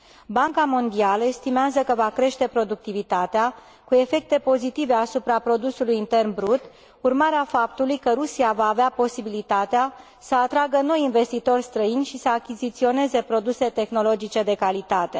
Banca Mondială estimează că va crește productivitatea, cu efecte pozitive asupra produsului intern brut, urmare a faptului că Rusia va avea posibilitatea să atragă noi investitori străini și să achiziționeze produse tehnologice de calitate.